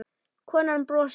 Konan brosir.